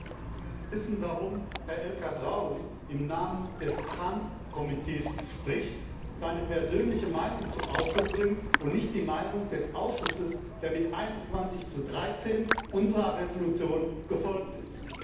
Ich möchte gerne wissen, warum Herr El Khadraoui im Namen des TRAN Ausschusses spricht, seine persönliche Meinung zum Ausdruck bringt und nicht die Meinung des Ausschusses, der mit 21 zu 13 unserer Entschließung gefolgt ist?